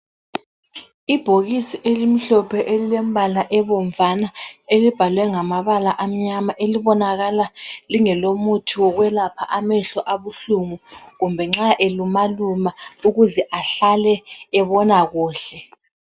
Ibhokisi elimhlophe elilembala ebomvana elibhalwe ngamabala amnyama elibonakala lingelomuthi wokwelapha amehlo abuhlungu kumbe nxa elumaluma ukuze ahlale ebona kuhle.